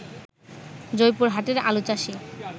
জয়পুরহাটের আলুচাষী